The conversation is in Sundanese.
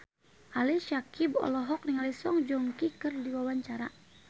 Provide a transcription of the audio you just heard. Ali Syakieb olohok ningali Song Joong Ki keur diwawancara